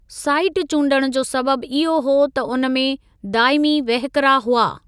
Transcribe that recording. Site चूंडणु जो सबबि इहो हो त उन में दाइमी वहिकिरा हुआ।